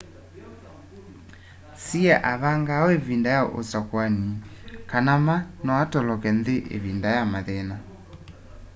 hsieh avangaa uu ivinda ya usakuani kana ma no atoloke nthi ivinda ya mathina